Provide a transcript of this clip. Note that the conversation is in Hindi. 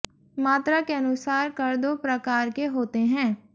मात्रा के अनुसार कर दो प्रकार के होते हैंः